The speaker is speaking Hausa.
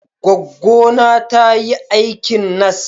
Gwaggona ta yi aikin nas.